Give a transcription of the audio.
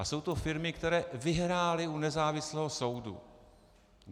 A jsou to firmy, které vyhrály u nezávislého soudu.